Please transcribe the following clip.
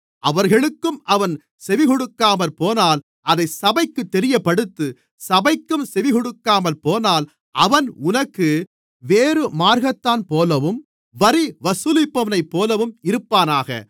அவர்களுக்கும் அவன் செவிகொடுக்காமற்போனால் அதை சபைக்குத் தெரியப்படுத்து சபைக்கும் செவிகொடுக்காமற்போனால் அவன் உனக்கு வேறுமார்க்கத்தான்போலவும் வரி வசூலிப்பவனைப்போலவும் இருப்பானாக